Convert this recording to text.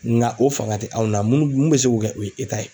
Ŋa o faŋa te anw na munnu mun bɛ se k'o kɛ o ye ye.